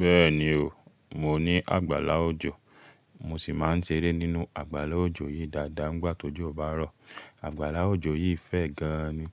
Bẹ́ẹ̀ni o, mo ní àgbàlá òjò, mo sì máa ń ṣeré nínú àgbàlá òjò yìí dáadáa nígbà tó jọ bá rọ̀. Àgbàlá òjò yìí fẹ̀ gan ni,